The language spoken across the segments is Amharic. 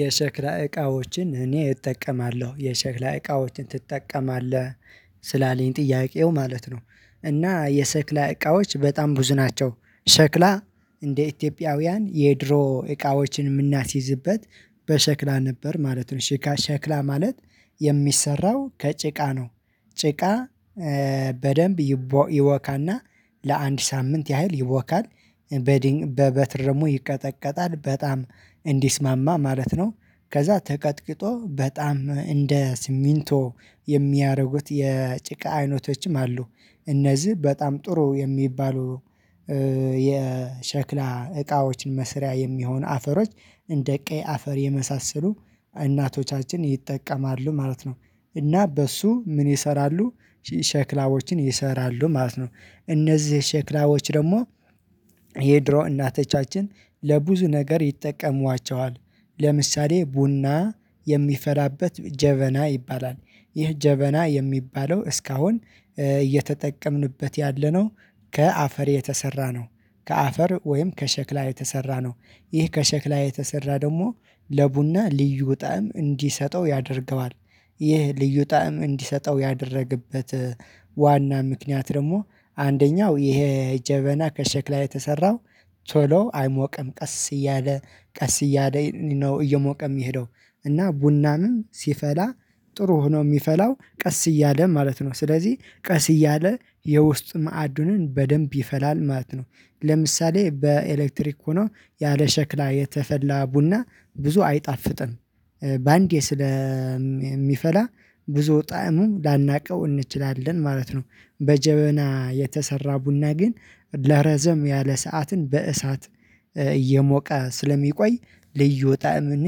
የሸክላ እቃዎችን እኔ እጠቀማለሁ የሸክላ እቃዎችን ትጠቀማለህ ስላለኝ ጥያቄው ማለት ነው? እና የሰክላ እቃዎች በጣም ብዙ ናቸው። ሸክላ እንደ ኢትዮጵያውያን የድሮ እቃዎችን የምናስይዝበት በሸክላ ነበር ማለት ነው ሸክላ ማለት የሚሰራው ከጭቃ ነው። ጭቃ በደንብ ይቦካና ለአንድ ሳምንት ያህል ይቦካል በበትር ይቀጠቀጣል በጣም እንዲስማማ ማለት ነው። ከዛ ተቀጥቅጦ በጣም እንደ ስሚንቶ የሚያደርጉት የጭቃ አይነቶችም አሉ። እነዚህ በጣም ጥሩ የሚባሉ የሸክላ እቃዎችን መስሪያ የሚሆን አፈሮች እንደ ቀይ አፈር የመሳሰሉ እናቶቻችን ይጠቀማሉ ማለት ነው። እና በሱ ምን ይሰራሉ ሸክላዎችን ይሰራሉ ማለት ነው። እነዚህ ሸክላዎች ደግሞ የድሮ እናተቻችን ለብዙ ነገር ይጠቀሟቸዋል ለምሳሌ ቡና የሚፈላበት ጀበና ይባላል። ይህ ጀበና የሚባለው እስካሁን እየተጠቀምንበት ያለነው ከአፈር የተሰራ ነው። ከአፈር ወይም ከሸክላ የተሰራ ነው። ይህ ከሸክላ የተሰራ ደግሞ ለቡና ልዩ ጣዕም እንዲሰጠው ያደርገዋል። ይህ ልዩ ጣዕም እንዲሰጠው ያደረገበት ዋና ምክንያት ደግሞ አንደኛው ይሄ ጀበና ከሸክላ የተሰራው ቶሎ አይሞቅም ቀስ እያለ ቀስ እያለ ነው እየሞቀም የሚሄደው እና ቡናንም ሲፈላ ጥሩ ሆኖ የሚፈላው ቀስ እያለ ማለት ነው ስለዚህ ቀስ እያለ የውስጥ ማዕዱንን በደንብ ይፈላል ማለት ነው። ለምሳሌ በኤሌክትሪክ ሆኖ ያለ ሸክላ የተፈላ ቡና ብዙ አይጣፍጥም። በአንዴ ስለሚፈላ ብዙ ጣዕሙ ላናውቀው እንችላለን ማለት ነው። በጀበና የተሰራ ቡና ግን ለረዘም ያለ ሰዓትን በእሳት እየሞቀ ስለሚቆይ ልዩ ጣዕምን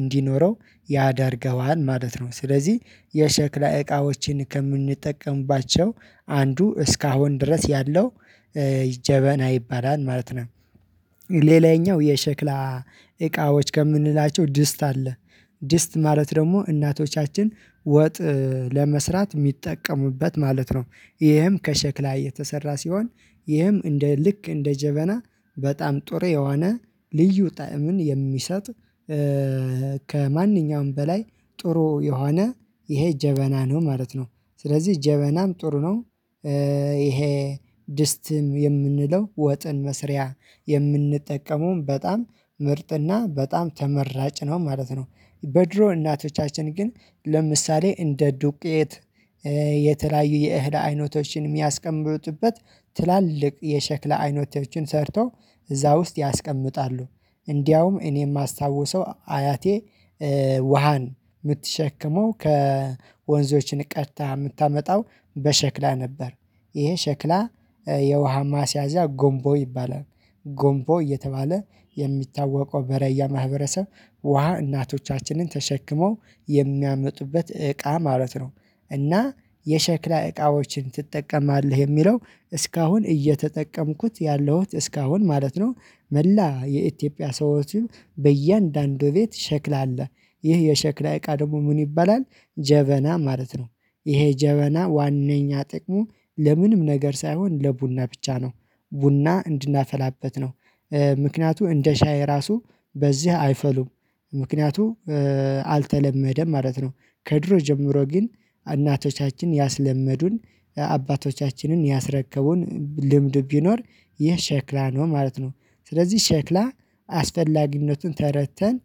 እንዲኖረው ያደርገዋል ማለት ነው። ስለዚህ የሸክላ እቃዎችን ከምንጠቀምባቸው አንዱ እስካሁን ድረስ ያለው ጀበና ይባላል ማለት ነው። ሌላኛው የሸክላ እቃዎች ከምንላቸው ድስት አለ። ድስት ማለት ደግሞ እናቶቻችን ወጥ ለመስራት የሚጠቀሙበት ማለት ነው። ይህም ከሸክላ የተሰራ ሲሆን ይህም እንደ ልክ እንደ ጀበና በጣም ጥሩየሆነ ልዩ ጣዕምን የሚሰጥ ከማንኛውም በላይ ጥሩ የሆነ ይሄ ጀበና ነው ማለት ነው። ስለዚህ ጀበናም ጥሩ ነው። ይሄ ድስትም የምንለው ወጥን መስሪያ የምንጠቀመውም በጣም ምርጥና በጣም ተመራጭ ነው ማለት ነው። በድሮ እናቶቻችን ግን ለምሳሌ እንደ ዱቄት የተለያዩ የእህል አይነቶችን የሚያስቀምጡበት ትላልቅ የሸክላ አይነቶችን ሰርተው እዛ ውስጥ ያስቀምጣሉ እንደውም እኔ የማስታውሰው አያቴ ውሃን የምትሸክመው ከወንዞች ቀድታ የምታመጣው በሸክላ ነበር። ይሄ ሸክላ የውሃ ማስያዣ ጎንቦ ይባላል ጎንቦ እየተባለ የሚታወቀው በራያ ማህበረሰብ ውሃ እናቶቻችንን ተሸክመው የሚያመጡበት እቃ ማለት ነው። እና የሸክላ እቃዎችን ትጠቀማለህ የሚለው እስካሁን እየተጠቀምኩት ያለሁት እስካሁን ማለት ነው። መላ የኢትዮጵያ ሰዎች በእያንዳንዱ ቤት ሸክል አለ ይህ የሸክላ እቃ ደግሞ ምን ይባላል? ጀበና ማለት ነው። ይሄ ጀበና ዋናኛ ጥቅሙ ለምንም ነገር ሳይሆን ለቡና ብቻ ነው። ቡና እንድናፈላበት ነው። ምክንያቱ እንደ ሻይ ራሱ በዚህ አይፈሉም። ምክንያቱ አልተለመደም ማለት ነው። ከድሮ ጀምሮ ግን እናቶቻችን ያስለመዱን አባቶቻችንን ያስረከቡን ልምድ ቢኖር ይህ ሸክላ ነው ማለት ነው። ስለዚህ ሸክላ አስፈላጊነቱን ተረድተን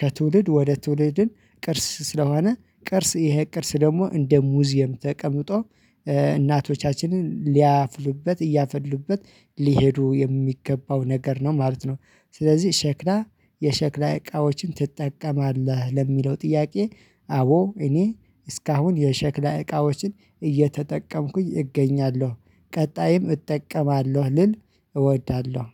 ከትውልድ ወደ ትውልድን ቅርስ ስለሆነ ቅርስ ይሄ ቅርስ ደግሞ እንደ ሙዚየም ተቀምጦ እናቶቻችንን ሊያፍሉበት እያፈሉበት ሊሄዱ የሚገባው ነገር ነው ማለት ነው። ስለዚህ ሸክላ የሸክላ እቃዎችን ትጠቀማለህ ለሚለው ጥያቄ? አዎ እኔ እስካሁን የሸክላ እቃዎችን እየተጠቀምኩኝ እገኛለሁ። ቀጣይም እጠቀማለሁ ልል እወዳለሁ